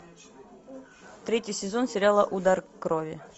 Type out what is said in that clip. третий сезон сериала удар крови